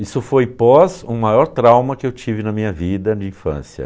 Isso foi pós o maior trauma que eu tive na minha vida de infância.